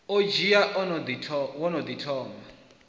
odzhi wo no ḓi thomaho